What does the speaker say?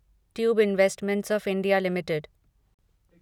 tube investment of India limited